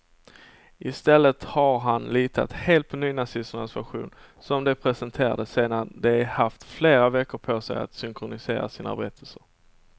I stället har han litat helt på nynazisternas version, som de presenterade sedan de haft flera veckor på sig att synkronisera sina berättelser.